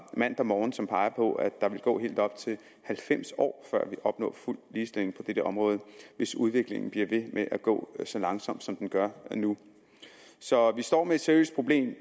mandag morgen som peger på at der vil gå helt op til halvfems år før vi vil opnå fuld ligestilling på dette område hvis udviklingen bliver ved med at gå så langsomt som den gør nu så vi står med et seriøst problem